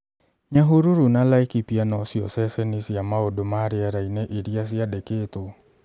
Nyahururu na Laikipia no cio ceceni cia mau͂ndu͂ ma ri͂era-ini͂ iri͂a ciandeketwo.